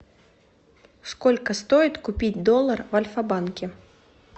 сколько стоит купить доллар в альфабанке